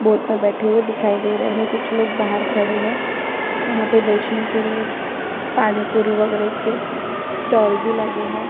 Boat में बैठे हुए दिखाई दे रहे हैं कुछ लोग बाहर खड़े हैं यहाँ पर बेचने के लिए पानी-पूरी वगेरा के स्टॉल भी लगे हैं।